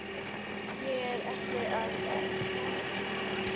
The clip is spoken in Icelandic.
Ég er ekkert að predika, Tómas.